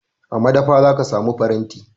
A madafa za ka samu faranti.